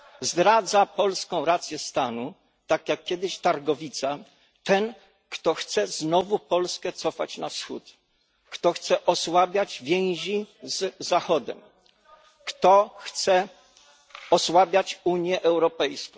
Zdradza polską rację stanu, tak jak kiedyś Targowica, ten, kto chce znowu Polskę cofać na Wschód, kto chce osłabiać więzi z Zachodem, kto chce osłabiać Unię Europejską.